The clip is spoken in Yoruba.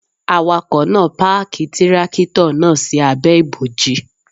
Awakọ̀ náà páàkì Tírákìtọ̀ náà sí abẹ́ ibòji.